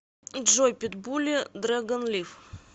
джой питбули дрэгон лив